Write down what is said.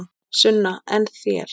Sunna: En þér?